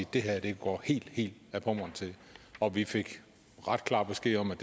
det her går helt helt ad pommern til og vi fik ret klar besked om at